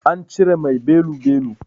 An cire mai belu-belu.